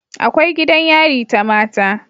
Akwai gidan yari ta mata